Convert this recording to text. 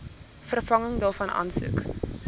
vervanging daarvan aansoek